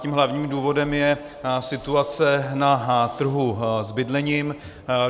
Tím hlavním důvodem je situace na trhu s bydlením.